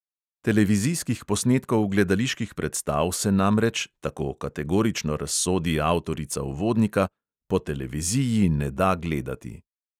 Televizijskih posnetkov gledaliških predstav se namreč, tako kategorično razsodi avtorica uvodnika, "po televiziji ne da gledati".